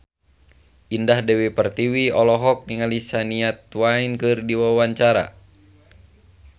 Indah Dewi Pertiwi olohok ningali Shania Twain keur diwawancara